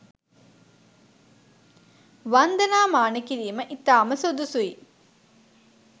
වන්දනා මාන කිරීම ඉතාම සුදුසුයි.